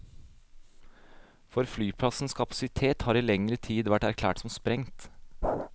For flyplassens kapasitet har i lengre tid vært erklært som sprengt.